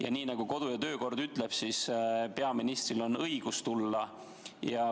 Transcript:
Ja nii nagu kodu- ja töökord ütleb, peaministril on õigus siia tulla.